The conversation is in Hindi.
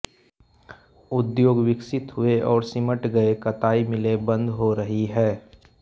उद्योग विकसित हुए और सिमट गए कताई मिलें बन्द हो रही हैं